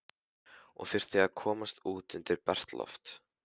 Ég þurfti að komast út undir bert loft.